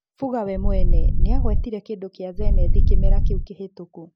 Fuga we mwene, nĩagwetire kĩndũ kĩa Zenith kĩmera kĩu kĩhĩtũku.